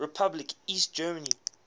republic east germany